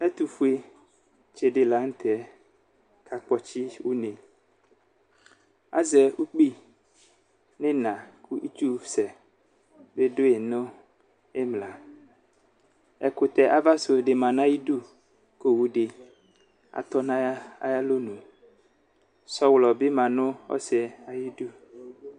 Ɛtufue tsi di laŋtɛ kakpɔtsi uneAzɛ ukpi nʋ iina , kʋ itsu sɛ bi dʋyi nʋ imlaƐkutɛ ava su di ma nayidu Kʋ owudi atɔ nayalonuSɔɣlɔ bi ma nʋ osiyɛ ayidu